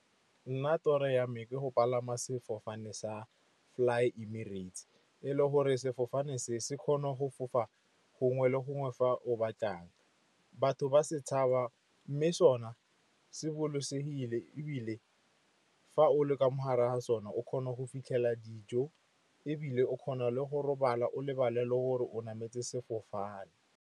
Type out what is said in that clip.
Nna toro yame ke go palama sefofane sa Fly Emirates, e le gore sefofane se se kgone go fofa gongwe le gongwe fa o batlang. Batho ba se tshaba mme sona se bolokesegile. Ebile fa o le ka mo gare ga sone, o kgona go fitlhela dijo ebile o kgona le go robala, o lebale le gore o nametse sefofane.